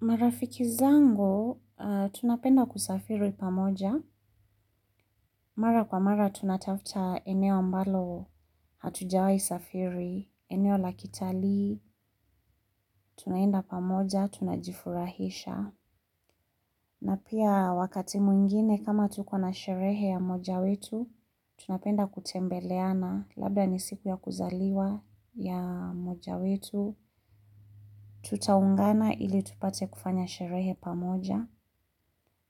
Marafiki zangu, tunapenda kusafiri pamoja. Mara kwa mara tunatafta eneo ambalo hatujawayi safiri, eneo lakitali, tunaenda pamoja, tunajifurahisha. Na pia wakati mwingine kama tukona sherehe ya moja wetu, tunapenda kutembeleana, labda ni siku ya kuzaliwa ya mmoja wetu, tutaungana ili tupate kufanya sherehe pamoja,